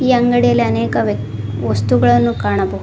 ಈ ಅಂಗಡಿಯಲ್ಲಿ ಅನೇಕ ವೆಕ್ ವಸ್ತುಗಳನ್ನು ಕಾಣಬಹು--